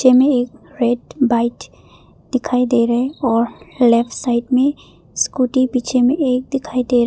में एक रैड बाइट दिखाई दे रहे हैं और लेफ्ट साइड में स्कूटी पीछे में एक दिखाई दे रहे --